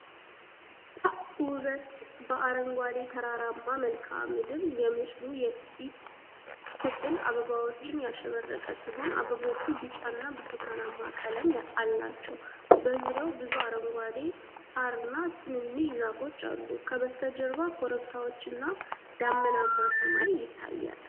ፐ ውበት በአረንጓዴ ተራራማ መልክዓ ምድር። የምስሉ የፊት ክፍል አበባዎች ያሸበረቀ ሲሆን፣ አበቦቹ ቢጫና ብርቱካናማ ቀለም አላቸው። በዙሪያው ብዙ አረንጓዴ ሣርና ትናንሽ ዛፎች አሉ። ከበስተጀርባ ኮረብታዎችና ደመናማ ሰማይ ይታያል።